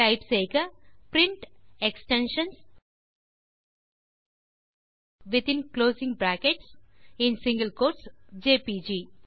type செய்க print extensions within closing brackets மற்றும் single quotes JPG